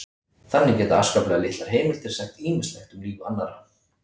þannig geta afskaplega litlar heimildir sagt ýmislegt um líf annarra